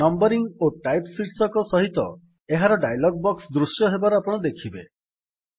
numbering ଓ type ଶୀର୍ଷକ ସହିତ ଏକ ଡାୟଲଗ୍ ବକ୍ସ ଦୃଶ୍ୟ ହେବାର ଆପଣ ଦେଖିବେ